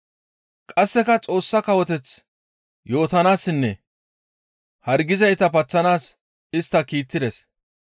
Qasseka Xoossa Kawoteth yootanaassinne hargizayta paththanaas istta kiittides.